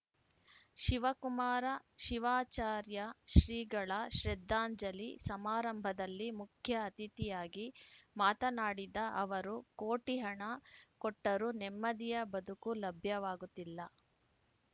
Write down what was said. ಶಿವಕುಮಾರ ಶಿವಾಚಾರ್ಯ ಶ್ರೀಗಳ ಶ್ರದ್ಧಾಂಜಲಿ ಸಮಾರಂಭದಲ್ಲಿ ಮುಖ್ಯ ಅತಿಥಿಯಾಗಿ ಮಾತನಾಡಿದ ಅವರು ಕೋಟಿ ಹಣ ಕೊಟ್ಟರೂ ನೆಮ್ಮದಿಯ ಬದುಕು ಲಭ್ಯವಾಗುತ್ತಿಲ್ಲ